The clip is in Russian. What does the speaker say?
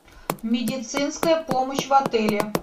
медицинская помощь в отеле